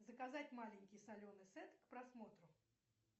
заказать маленький соленый сет к просмотру